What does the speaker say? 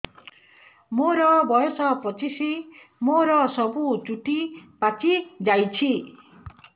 ମୋର ବୟସ ପଚିଶି ମୋର ସବୁ ଚୁଟି ପାଚି ଯାଇଛି